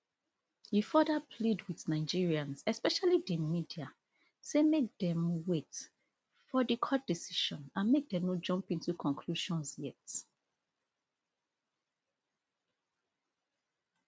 e further plead wit nigerians especially di media say make dem wait for di court decisions and make dem no jump into conclusions yet